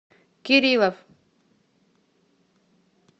кириллов